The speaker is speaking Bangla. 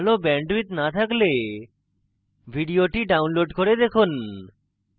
ভাল bandwidth না থাকলে ভিডিওটি download করে দেখুন